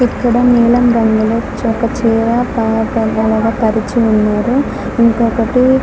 ఇక్కడ ఒక నీలం రంగు ఒక చీర పరిచి ఉన్నారు.